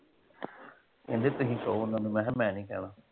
ਕਹਿੰਦੇ ਤੁਸੀਂ ਕਹੋ ਓਹਨਾਂ ਨੂੰ ਮੈਂ ਕਿਹਾ ਮੈਂ ਨਹੀ ਕਹਿਣਾ।